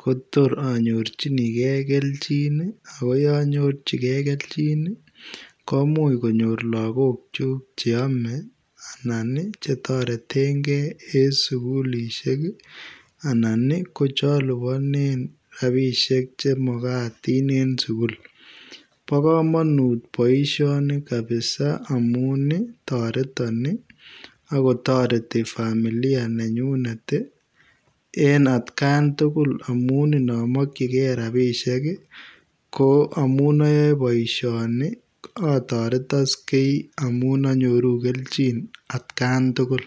kotoor anyorjinigei keljiin ii ago yaan nyorjigei keljiin ii komuuch konyoor lagook kyuuk chaame anan che tareteen gei en sugulisheek anan ii ko che alupaneen rapisheek che magatiin en sugul bo kamanut boisioni kabisa amuun ii taretaan ii ago taretii familia nengunget ii en at Gaan tugul amuun inamkyigei rapisheek ii ko amuun ayae boisioni ii ataretaksei amuun anyoruu at Gaan tugul.